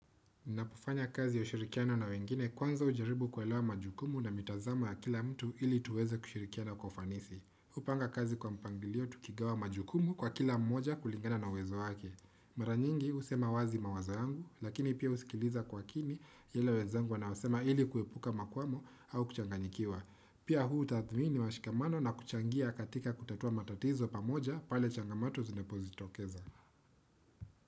Ninapofanya kazi ya ushirikiano na wengine kwanza hujaribu kuelewa majukumu na mitazamo ya kila mtu ili tuweze kushirikiana kwa ufanisi. Hupanga kazi kwa mpangilio tukigawa majukumu kwa kila mmoja kulingana na uwezo wake. Mara nyingi husema wazi mawazo yangu, lakini pia husikiliza kwa makini yale wezangu wanasema ili kuepuka makuamo au kuchanganyikiwa. Pia huu utathmii ni washikamana na kuchangia katika kutatua matatizo pamoja pale changamoto zinapojitokeza.